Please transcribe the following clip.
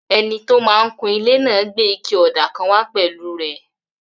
Ẹni tó máa n kun ilé náà gbé ike ọ̀dà kan wá pẹ̀lú rẹ̀